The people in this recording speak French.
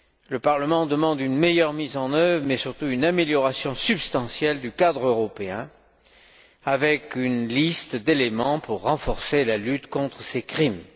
Le Parlement demande une meilleure mise en œuvre, mais surtout une amélioration substantielle du cadre européen, avec une liste d'éléments pour renforcer la lutte contre ces crimes.